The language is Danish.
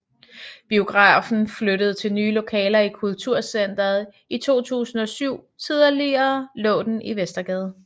Biografen flyttede til nye lokaler i Kulturcenteret i 2007 Tidligere lå den i Vestergade